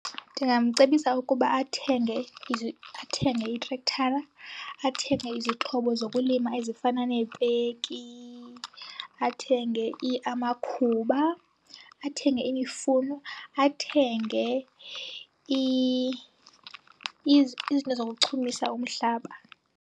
Ndingamcebisa ukuba athenge itrekthara, athenge izixhobo zokulima ezifana neepeki, athenge amakhuba, athenge imifuno, athenge izinto zokuchumisa umhlaba.